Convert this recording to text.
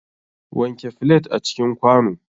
Wanke flet a cikin kwano.